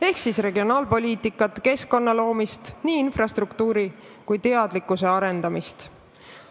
See tähendab regionaalpoliitikat, keskkonna loomist, nii infrastruktuuri kui teadlikkuse arendamist.